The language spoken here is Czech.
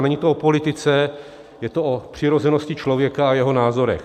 A není to o politice, je to o přirozenosti člověka a jeho názorech.